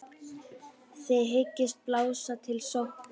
Þið hyggist blása til sóknar?